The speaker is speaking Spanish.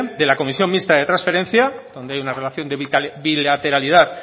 de la comisión mixta de transferencia donde hay una relación de bilateralidad